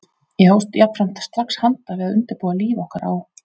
Ég hófst jafnframt strax handa við að undirbúa líf okkar á